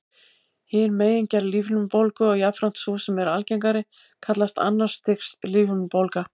Hin megingerð lífhimnubólgu, og jafnframt sú sem er algengari, kallast annars stigs lífhimnubólga.